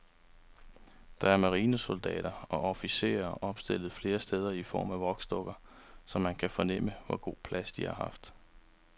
Der er marinesoldater og officerer opstillet flere steder i form af voksdukker, så man kan fornemme, hvor god plads de har haft.